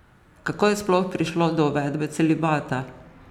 Kako je sploh prišlo do uvedbe celibata?